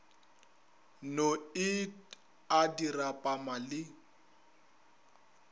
no et a dirapama le